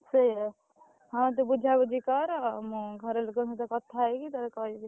ସେଇଆ ହଁ ତୁ ବୁଝାବୁଝି କର। ମୁଁ ଘର ଲୋକଙ୍କ ସହ କଥା ହେଇକି ତତେ କହିବି।